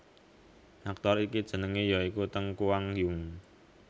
Aktor iki jenengé ya iku Teng Kuang Yung